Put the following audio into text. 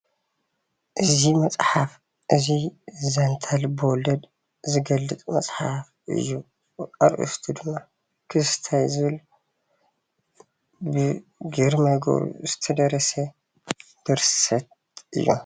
እዚ መፅሓፍ እዚ ዛንታ ልበ ወለድ ዝገልፅ መፅሓፍ እዩ፡፡ ኣርእስቱ ድማ ክስተ ዝብል ብግርማ ገብሩ ዝተደረሰ ድርሰት እዩ፡፡